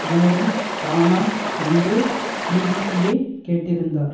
மூலம் தானா என்று பிபிசியை கேட்டிருந்தார்